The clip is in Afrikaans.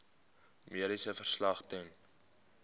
mediese verslag ten